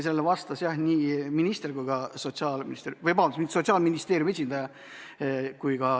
Sellele vastas Sotsiaalministeeriumi esindaja.